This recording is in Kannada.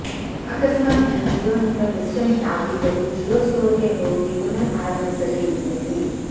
ಆಕಸ್ಮಾತ್ ನಿಮ್ಮ ಜಿಯೋ ನಂಬರ್ ಡಿಸ್ ಕನೆಕ್ಟ್ ಆಗಿದ್ದಲ್ಲಿ ಜಿಯೋ ಸ್ಟೋರ್ ಗೆ ಹೋಗಿ ಪುನರ್ ಆರಂಭಿಸಲು ವಿನಂತಿಸಿ